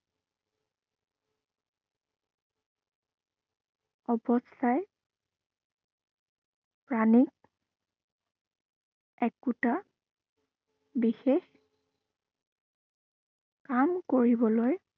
অৱস্থাই মোক একোটা বিশেষ কাম কৰিবলৈ